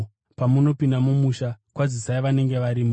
Pamunopinda mumusha, kwazisai vanenge varimo.